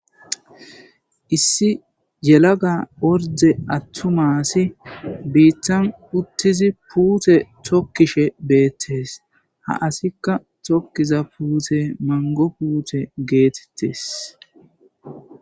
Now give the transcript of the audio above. Issi yelaga orde attumasi biittan uttizi puute tokkishe beettes ha asikka tokkiza puute mango puute geetettes.